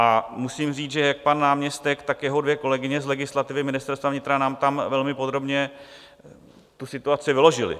A musím říct, že jak pan náměstek, tak jeho dvě kolegyně z legislativy Ministerstva vnitra nám tam velmi podrobně tu situaci vyložili.